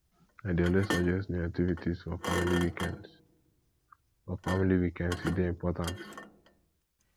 i dey always suggest new activities for family weekends for family weekends e dey important